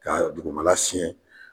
Ka dugumala siɲɛ